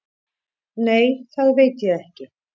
Nei, það veit ég ekki